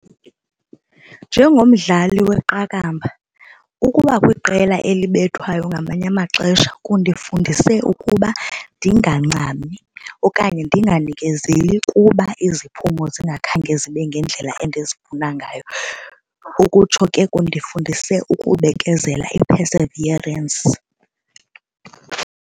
Njengomdlali weqakamba ukuba kwiqela elibethwayo ngamanye amaxesha kundifundise ukuba ndingangxami okanye ndinganikezeli kuba iziphumo zingakhange zibe ngendlela endizifuna ngayo. Ukutsho ke kundifundise ukubekezela, i-perseverance.